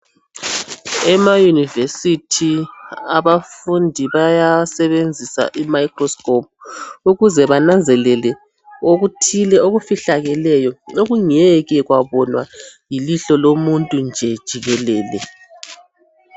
ema univesithi abafundi bayasebenziisa imicro scrope ukuze bananzelele okuthile okufihlakeleyo okungeke kwabonywa yilihlo lomuntu nje jikelele